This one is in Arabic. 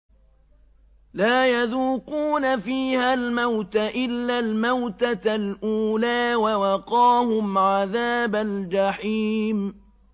لَا يَذُوقُونَ فِيهَا الْمَوْتَ إِلَّا الْمَوْتَةَ الْأُولَىٰ ۖ وَوَقَاهُمْ عَذَابَ الْجَحِيمِ